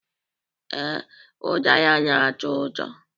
Ee, udara na-atọ ụtọ